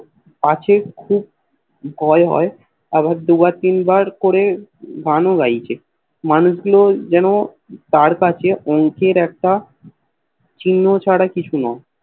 আছে খুব ভয় হয় আবার দুবার তিনবার করে গান ও গাইছে মানুষ গুলো যেন তার কাছে অঙ্কের একটা চিহ্ন ছাড়া কিছু নয়